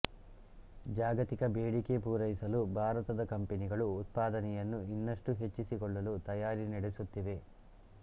ಜಾಗತಿಕ ಬೇಡಿಕೆ ಪೂರೈಸಲು ಭಾರತದ ಕಂಪನಿಗಳು ಉತ್ಪಾದನೆಯನ್ನು ಇನ್ನಷ್ಟು ಹೆಚ್ಚಿಸಿಕೊಳ್ಳಲು ತಯಾರಿ ನಡೆಸುತ್ತಿವೆ